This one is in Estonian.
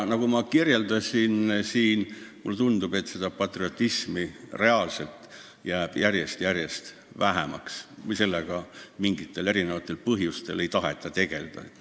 Nagu ma juba ütlesin, mulle tundub, et seda patriotismi jääb järjest-järjest vähemaks või sellega mingitel erinevatel põhjustel ei taheta tegelda.